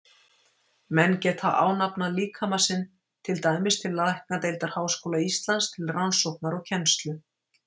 Menn geta ánafnað líkama sinn, til dæmis til læknadeildar Háskóla Íslands, til rannsóknar og kennslu.